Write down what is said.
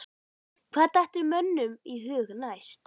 Hvað dettur mönnum í hug næst?